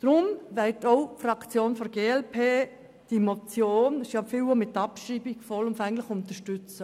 Deshalb wird auch die Fraktion der glp die Motion, die zum Teil abgeschrieben werden soll, vollumfänglich unterstützen.